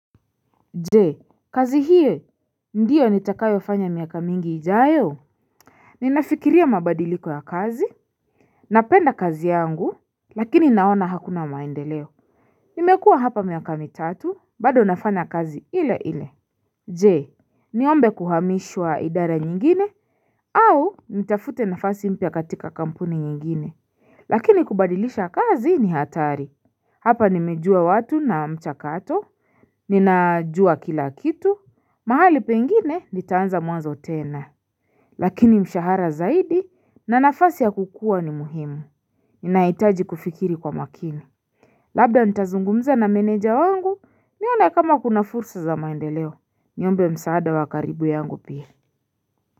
Je kazi hiyo ndiyo nitakayo fanya miaka mingi ijayo Ninafikiria mabadiliko ya kazi Napenda kazi yangu Lakini naona hakuna maendeleo Nimekua hapa miaka mitatu bado nafanya kazi ile ile Je niombe kuhamishwa idara nyingine au nitafute nafasi mpya katika kampuni nyingine Lakini kubadilisha kazi ni hatari Hapa nimejua watu na mchakato Ninajua kila kitu mahali pengine nitaanza mwanzo tena. Lakini mshahara zaidi na nafasi ya kukua ni muhimu. Ninaitaji kufikiri kwa makini. Labda ntazungumza na meneja wangu nione kama kuna fursa za maendeleo. Niombe msaada wa karibu yangu pia.